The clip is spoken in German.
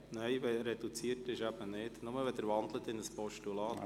Nein, in einer reduzierten Debatte eben nicht, nur wenn Sie in ein Postulat wandeln.